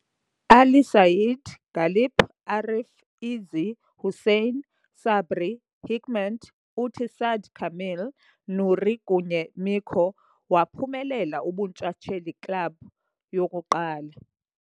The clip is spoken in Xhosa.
Ali Said, Galip, Arif, Izzi, Hüseyin, sabri, Hikmet, uthi Sa'd Kamil, Nuri kunye Mico, waphumelela ubuntshatsheli club yokuqala.